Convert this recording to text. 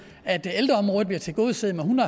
at ældreområdet bliver tilgodeset med en